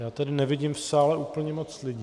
Já tady nevidím v sále úplně moc lidí.